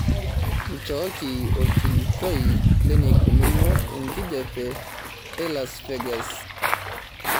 nchooki orkilikuai leneikununo enkijiape e las vegas